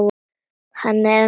Hann er ennþá heitur.